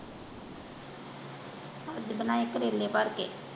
ਅੱਜ ਬਣਾਏ ਕਰੇਲੇ ਭਰ ਕੇ।